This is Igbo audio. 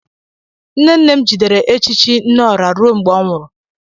Nne nne m jidere echichi nneọra ruo mgbe ọ nwụrụ.